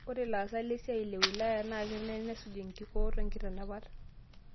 Ore laasak le siai le wilaya na kenare nesuj nkikoot o nkitanapat